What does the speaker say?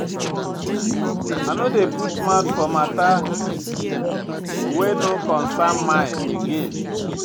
I no dey put mouth for mata wey no concern my again.